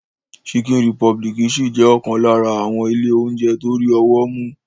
Chicken Republic ṣì jẹ́ ọ̀kan lára àwọn ilé oúnjẹ tó rí ọwọ́ mú.